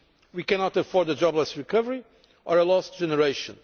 us. We cannot afford a jobless recovery or a lost generation.